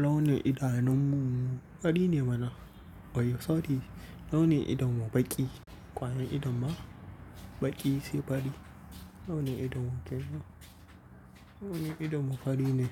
Launi idanun mu fari ne mana. Oya sorry, launi idon mu baƙi. Kwayan idon ba baƙi sai fari. Launi idon mu ke nan. Launi idon mu fari ne.